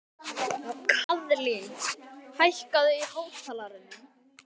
Kaðlín, hækkaðu í hátalaranum.